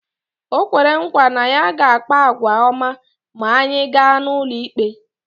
O kwere nkwa na ya ga-akpa àgwà ọma ma anyị gaa n’ụlọikpe